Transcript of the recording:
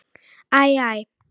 Æ, æ!